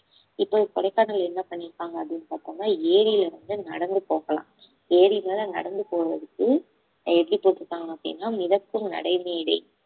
இப்ப கொடைக்கானல் என்ன பண்ணிருக்காங்க அப்படின்னு பார்த்தோம்னா ஏரியில இருந்து நடந்து போகலாம் ஏரி மேல நடந்து போறதுக்கு எப்படி போட்டிருக்காங்க அப்படின்னா மிதக்கும் நடைமேடை